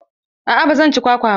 Aa ba zan ci kwakwa ba.